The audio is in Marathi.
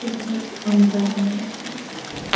इकडे एक खंबा आहे.